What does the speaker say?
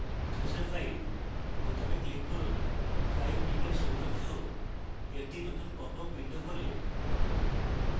choose a file বোতামে click করুন file picker শিরোনাম সহ একটি নতুন popup window খোলে